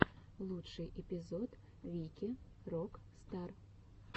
лучший эпизод вики рок стар